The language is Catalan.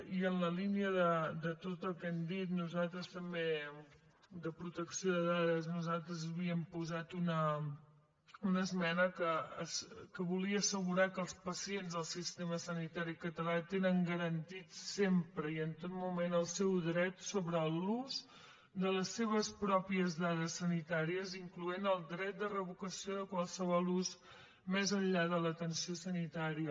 i en la línia de tot el que han dit nosaltres també de protecció de dades havíem posat una esmena que volia assegurar que els pacients del sistema sanitari català tenen garantit sempre i en tot moment el seu dret sobre l’ús de les seves pròpies dades sanitàries incloenthi el dret de revocació de qualsevol ús més enllà de l’atenció sanitària